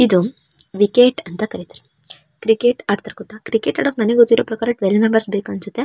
ಇದು ವಿಕೆಟ್ ಅಂತ ಕರೀತಾರೆ. ಕ್ರಿಕೆಟ್ ಆಡ್ತಾರೆ ಗೊತ್ತ ಕ್ರಿಕೆಟ್ ಆಡೋಕೆ ನನಿಗ್ ಗೊತ್ತಿರೋ ಪ್ರಕಾರ ಟ್ವೇಲ್ ಮೆಂಬರ್ಸ್ ಬೇಕ್ ಅನ್ಸುತ್ತೆ.